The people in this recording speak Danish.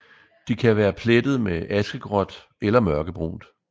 De kan være plettet med askegråt eller mørkebrunt